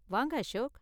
வாங்க அசோக்.